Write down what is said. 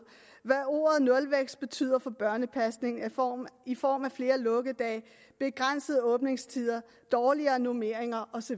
hvad ordet nulvækst betyder for børnepasning i form af flere lukkedage begrænsede åbningstider dårligere normeringer osv